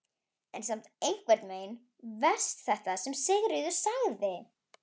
En samt einhvern veginn verst þetta sem Sigríður sagði.